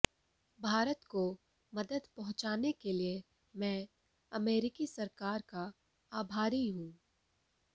भारत को मदद पहुंचाने के लिए मैं अमेरिकी सरकार का आभारी हूं